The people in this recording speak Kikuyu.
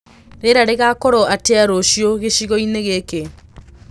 rĩera rĩgakorwo atĩa rũcĩũ gĩcĩgoĩni gĩkĩ